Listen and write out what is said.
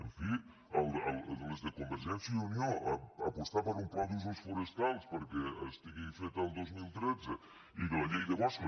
en fi les de convergència i unió apostar per un pla d’usos forestals perquè estigui fet el dos mil tretze i que la llei de boscos